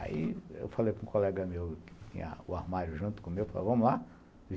Aí eu falei para um colega meu, que tinha o armário junto com o meu, falou, vamos lá?